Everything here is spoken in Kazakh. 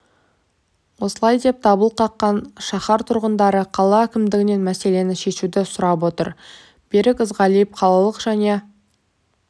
осылай деп дабыл қаққан шаһар тұрғындары қала әкімдігінен мәселені шешуді сұрап отыр берік ізғалиев қалалық және